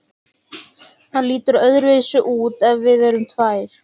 Það lítur öðruvísi út ef við erum tvær.